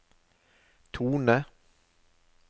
tone